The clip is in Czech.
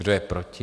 Kdo je proti?